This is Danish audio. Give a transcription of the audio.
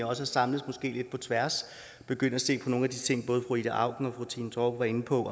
også samles lidt på tværs og begynde at se på nogle af de ting fru ida auken og fru trine torp var inde på